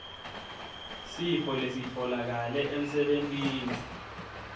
sifo lesitfolakale emsebentini